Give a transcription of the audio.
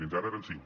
fins ara eren cinc